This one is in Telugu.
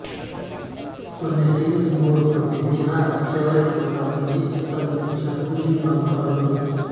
కొన్ని సీన్స్ బోర్ కొట్టించిన చివరికి ఒక మంచి చిత్రం చూసిన ఫీలింగ్ మనకు కలుగుతుంది